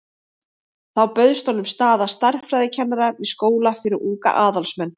Þá bauðst honum staða stærðfræðikennara við skóla fyrir unga aðalsmenn.